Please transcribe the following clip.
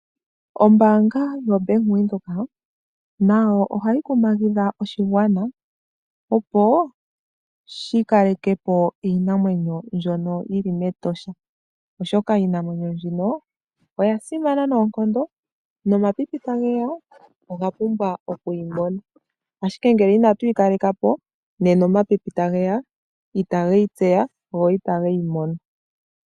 Ombaanga yaBank Windhoek nayo ohayi kumagidha oshigwana opo shikalekepo iinamwenyo mbyono yili mEtosha National Park , oshoka iinamwenyo mbino oyasimana noonkondo nomapipi tageya , oga pumbwa okuyimona . Ngele inatu yi kaleka po nena omapipi tageya itage yi tseya, go itageyi mono.